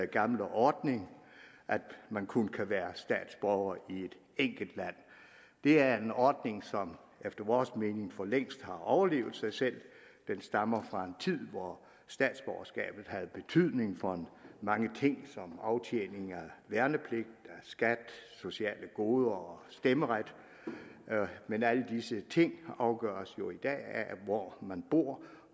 gamle ordning at man kun kan være statsborger i et enkelt land det er en ordning som efter vores mening for længst har overlevet sig selv den stammer fra en tid hvor statsborgerskabet havde betydning for mange ting som aftjening af værnepligt skat sociale goder og stemmeret men alle disse ting afgøres jo i dag af hvor man bor